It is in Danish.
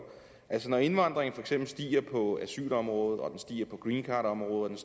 altså når indvandringen for eksempel stiger på asylområdet og den stiger på greencardområdet og